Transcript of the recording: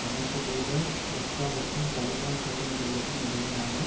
அமெரிக்க தூதர் ரொக்காவிற்கும் தலிபான் பிரதிநிதிகளுக்கும் இடையிலான